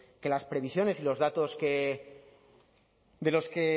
que las previsiones y los datos de los que